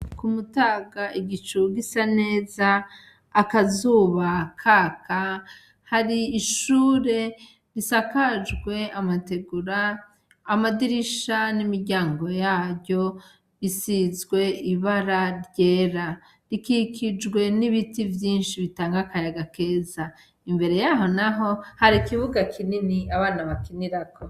Ku mutaga igicu gisa neza akazuba kaka hari ishure risakajwe amategura amadirisha n'imiryango yayo risizwe ibara ryera rikikijwe n'ibiti vyinshi bitanga akayaga keza imbere yaho, naho hari ikibuga kinini abana bakinirako.